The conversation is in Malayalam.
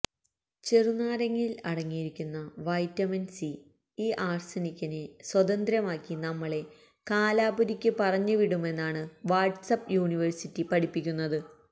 ചെറുനാരങ്ങയില് അടങ്ങിയിരിക്കുന്ന വൈറ്റമിന് സി ഈ ആര്സനിക്കിനെ സ്വതന്ത്യമാക്കി നമ്മളെ കാലപുരിക്ക് പറഞ്ഞു വിടുമെന്നാണ് വാട്ട്സപ് യൂണിവേര്സിറ്റി പഠിപ്പിക്കുന്നത്